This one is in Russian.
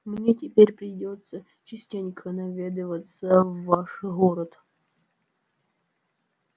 мне теперь придётся частенько наведываться в ваш город